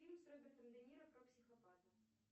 фильм с робертом де ниро про психопата